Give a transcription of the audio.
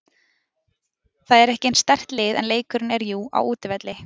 Það er ekki eins sterkt lið en leikurinn er jú á útivelli.